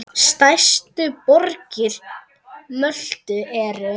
Stærstu borgir Möltu eru